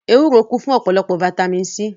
Ewúro kún fún ọ̀pọ̀lọpọ̀ fataímìn C.